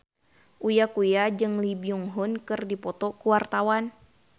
Uya Kuya jeung Lee Byung Hun keur dipoto ku wartawan